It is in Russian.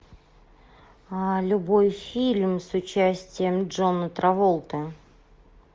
любой фильм с участием джона траволты